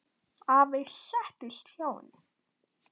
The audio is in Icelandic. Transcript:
Afi settist hjá henni.